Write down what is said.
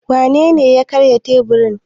Wanene ya karya teburin?